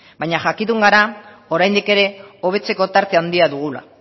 baina jakitun gara oraindik ere hobetzeko tarte handia dugula